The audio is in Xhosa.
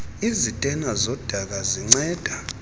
izitena zodaka zinceda